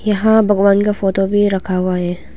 यहां भगवान का फोटो भी रखा हुआ है।